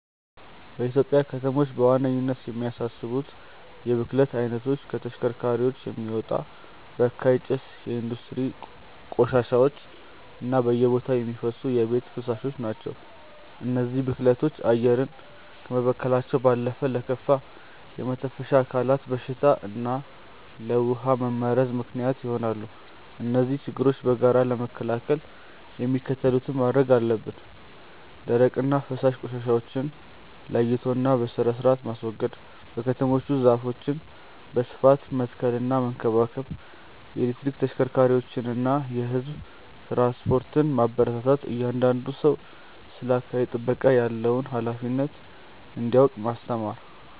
በኢትዮጵያ ከተሞች በዋነኝነት የሚያሳስቡት የብክለት አይነቶች ከተሽከርካሪዎች የሚወጣ በካይ ጭስ፣ የኢንዱስትሪ ቆሻሻዎች እና በየቦታው የሚፈሱ የቤት ፍሳሾች ናቸው። እነዚህ ብክለቶች አየርን ከመበከላቸው ባለፈ ለከፋ የመተንፈሻ አካላት በሽታ እና ለውሃ መመረዝ ምክንያት ይሆናሉ። እነዚህን ችግሮች በጋራ ለመከላከል የሚከተሉትን ማድረግ አለብን፦ ደረቅና ፈሳሽ ቆሻሻዎችን ለይቶና በስርአት ማስወገድ። በከተሞች ውስጥ ዛፎችን በስፋት መትከልና መንከባከብ። የኤሌክትሪክ ተሽከርካሪዎችንና የህዝብ ትራንስፖርትን ማበረታታት። እያንዳንዱ ሰው ስለ አካባቢ ጥበቃ ያለውን ሃላፊነት እንዲያውቅ ማስተማር።